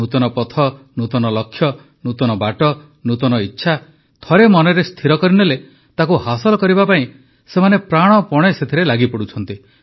ନୂତନ ପଥ ନୂତନ ଲକ୍ଷ୍ୟ ନୂତନ ବାଟ ନୂତନ ଇଚ୍ଛା ଥରେ ମନରେ ସ୍ଥିର କରିନେଲେ ତାକୁ ହାସଲ କରିବା ପାଇଁ ସେମାନେ ପ୍ରାଣପଣେ ସେଥିରେ ଲାଗିପଡ଼ୁଛନ୍ତି